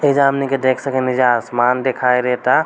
ऐजा हमनी के देख सकेनी ऐजा आसमान दिखाई देता।